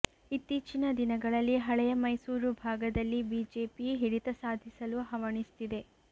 ಇತ್ತೀಚಿನ ದಿನಗಳಲ್ಲಿ ಹಳೆಯ ಮೈಸೂರು ಭಾಗದಲ್ಲಿ ಬಿಜೆಪಿ ಹಿಡಿತ ಸಾಧಿಸಲು ಹವಣಿಸ್ತಿದೆ